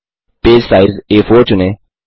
page size आ4 चुनें